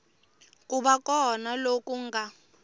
ku va kona loku nga